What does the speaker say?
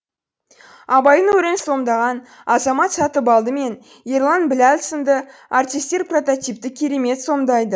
абайдың рөлін сомдаған азамат сатыбалды мен ерлан біләл сынды артистер прототипті керемет сомдайд